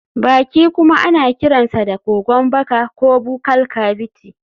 Baki kuma ana kiransa da kogon baka ko buccal cavity.